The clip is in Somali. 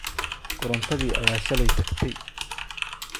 Korontadii ayaa shalay taagtey,